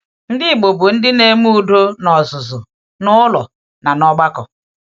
Ndị Igbo bụ ndị na-eme udo n’ọzụzụ, n’ụlọ, na n’ọgbakọ.